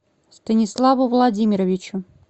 станиславу владимировичу